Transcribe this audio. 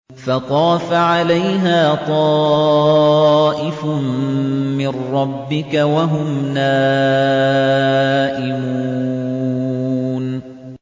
فَطَافَ عَلَيْهَا طَائِفٌ مِّن رَّبِّكَ وَهُمْ نَائِمُونَ